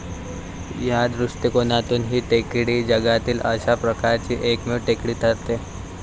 या दृष्टिकोनातून ही टेकडी जगातील अशा प्रकारची एकमेव टेकडी ठरते.